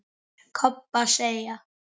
Kobba segja.